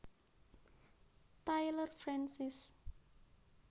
Taylor Francis